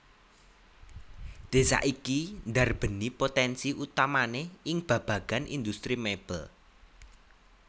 Désa iki ndarbèni potènsi utamané ing babagan indhustri mèbel